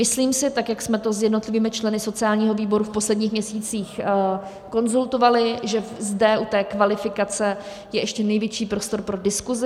Myslím si, tak jak jsme to s jednotlivými členy sociálního výboru v posledních měsících konzultovali, že zde u té kvalifikace je ještě největší prostor pro diskusi.